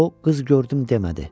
O qız gördüm demədi.